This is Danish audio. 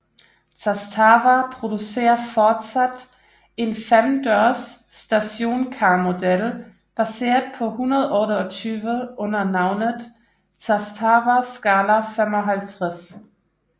Zastava producerer fortsat en femdørs stationcarmodel baseret på 128 under navnet Zastava Skala 55